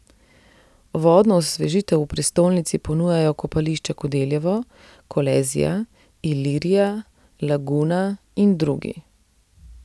Vodno osvežitev v prestolnici ponujajo kopališča Kodeljevo, Kolezija, Ilirija, Laguna in drugi.